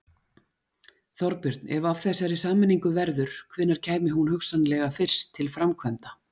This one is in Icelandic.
Þorbjörn: Ef af þessari sameiningu verður, hvenær kæmi hún hugsanlega fyrst til framkvæmda?